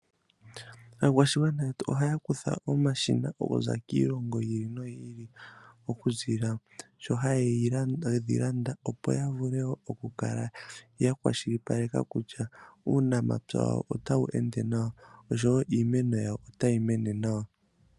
Aakwashigwana yetu ohaya kutha omashina okuza kiilongo yi ili noyi ili, oku ziilila sho haye ga landa opo ya vule oku kala ya kwashilipaleka kutya, uunamapya wawo otawu ende nawa oshowo iimeno yawo ota yi mene nawa.